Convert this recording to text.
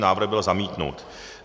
Návrh byl zamítnut.